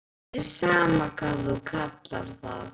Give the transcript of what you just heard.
Mér er sama hvað þú kallar það.